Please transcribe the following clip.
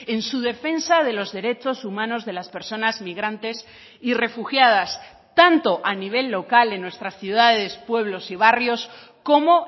en su defensa de los derechos humanos de las personas migrantes y refugiadas tanto a nivel local en nuestras ciudades pueblos y barrios como